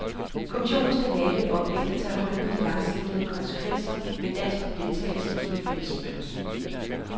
Kommissionen skal lave et oplæg, som tager hul på de langsigtede konsekvenser ved dansk deltagelse i den fælles mønt.